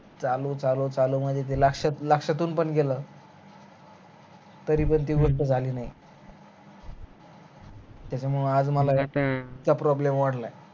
चालू चालू मध्ये गेल असत लाक्ष्यातून पण गेल तरी पण ती गोष्ट झाली नाही त्याच्यामुळे आज मला इतक problem वाढलाय